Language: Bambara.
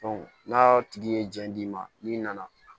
n'a tigi ye jiɲɛ d'i ma n'i nana